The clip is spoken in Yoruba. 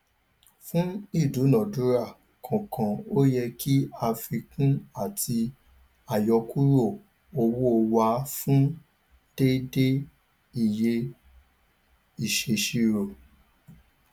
fún ìdúnadúrà kọọkan o yẹ kí àfikún àti àyọkúrò owó wà fún déédéé iye ìṣèṣirò